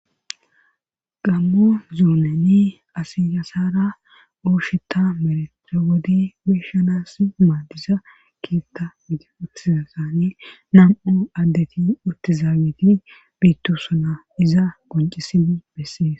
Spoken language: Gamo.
Gammo zoonani asiyasara osheta merettewodi beshanas maadiza kietta gidi uttizasaane nam7o addeti uttizaa giti biittosuna iza goncisini bessees.